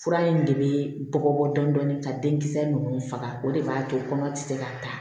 Fura in de bɛ bɔ dɔɔnin dɔɔnin ka denkisɛ ninnu faga o de b'a to kɔnɔ tɛ se k'a ta